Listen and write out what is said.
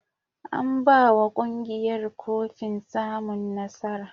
An ba wa ƙungiyar kofin samun nasara.